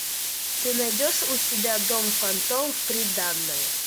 ты найдешь у себя дом фантом в приданое